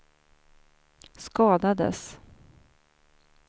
skadades